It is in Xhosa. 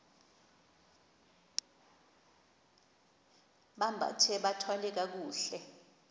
bambathe bathwale kakuhle